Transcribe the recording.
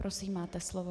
Prosím, máte slovo.